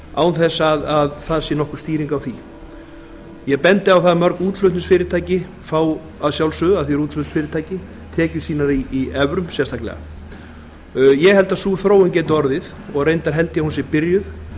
evru án þess að það sé nokkur stýring á því ég bendi á það að mörg útflutningsfyrirtæki fá að sjálfsögðu af því þau eru útflutningsfyrirtæki tekjur sínar í evrum sérstaklega ég held að sú þróun geti orðið og reyndar held ég að hún sé byrjuð